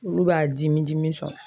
Olu b'a dimi dimi sɔn